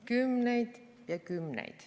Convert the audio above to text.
Kümneid ja kümneid.